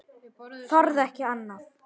Þorði ekki annað.